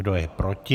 Kdo je proti?